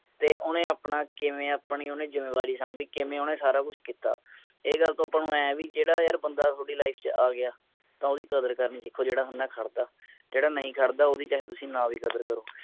ਤੇ ਓਹਨੇ ਅਪਣਾ ਕਿਵੇਂ ਆਪਣੀ ਓਹਨੇ ਜਿੰਮੇਵਾਰੀ ਸਾਂਭੀ ਕਿਵੇਂ ਓਹਨੇ ਸਾਰਾ ਕੁਜ ਕੀਤਾ ਇਹ ਗੱਲ ਤਾ ਆਪਾ ਨੂੰ ਇਹ ਹੈ ਬੀ ਜੇੜਾ ਯਾਰ ਬੰਦਾ ਥੋਡੀ life ਚ ਆਗਯਾ ਤਾ ਓਹਦੀ ਕਦਰ ਕਰਨੀ ਸਿੱਖੋ ਜੇੜਾ ਬੰਦਾ ਖੜਦਾ ਜੇੜਾ ਨਹੀਂ ਖੜਦਾ ਓਹਦੀ ਚਾਹੇ ਤੁਸੀ ਨਾ ਵੀ ਕਦਰ ਕਰੋ